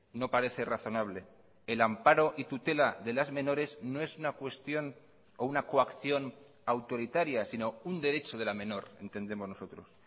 no parece razonable el amparo y tutela de las menores no es una cuestión o una coacción autoritaria sino un derecho de la menor entendemos nosotros